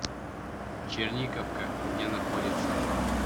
черниковка где находится